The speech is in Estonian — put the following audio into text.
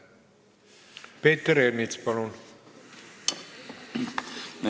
Peeter Ernits, palun!